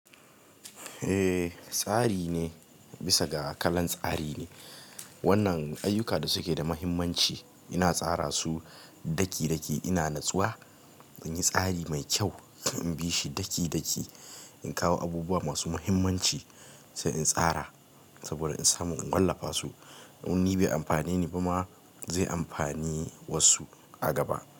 Eh, tsari ne bisa ga kalan tsari ne. Wannan ayyuka da suke da muhimmanci ina tsara su daki-daki. Ina natsuwa in yi tsari mai kyau, in bi shi daki-daki. In kawa abubuwa masu mihimmanci sai in tsara sabo da in samu in walafa su ni bai amfane ni ba ma zai amfane wasu a gaba.